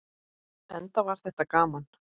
Enda var þetta gaman.